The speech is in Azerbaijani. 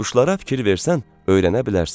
Quşlara fikir versən, öyrənə bilərsən.